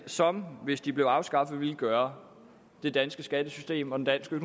som hvis de blev afskaffet ville gøre det danske skattesystem og den danske